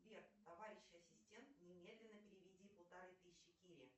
сбер товарищ ассистент немедленно переведи полторы тысячи кире